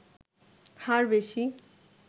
হার বেশি